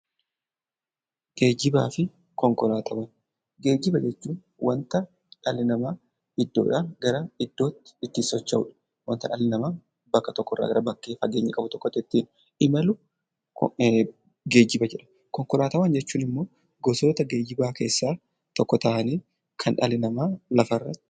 Geejjiba jechuun waanta dhalli namaa iddoodhaa gara iddootti ittiin socho'udha. Waanta dhalli namaa bakka tokkorraa gara bakkee fageenya qabu tokkotti ittiin imalu geejjiba jedhama. Konkolaataawwan jechuun immoo gosoota geejjibaa keessaa tokko ta'anii, kan dhalli namaa lafarratti...